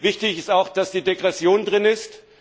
Wichtig ist auch, dass die Degression enthalten ist.